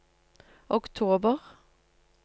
oktober